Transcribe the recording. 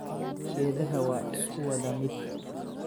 Geedhaha waa iskuwadhamid.